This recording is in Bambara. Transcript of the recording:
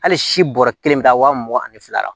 Hali si bɔrɔ kelen bɛ taa wa mugan ani fila la